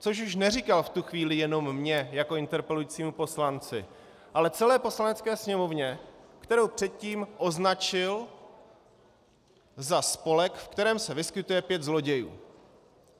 Což už neříkal v tu chvíli jenom mně jako interpelujícímu poslanci, ale celé Poslanecké sněmovně, kterou předtím označil za spolek, v kterém se vyskytuje pět zlodějů.